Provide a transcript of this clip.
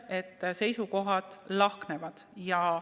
Seisukohad lahknevad.